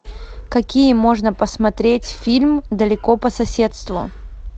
какие можно посмотреть фильм далеко по соседству